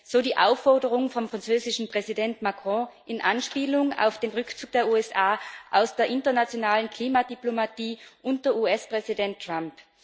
So die Aufforderung vom französischen Präsidenten Macron, in Anspielung auf den Rückzug der USA aus der internationalen Klimadiplomatie unter US Präsident Trump.